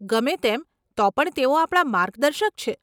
ગમે તેમ તો પણ તેઓ આપણા માર્ગદર્શક છે.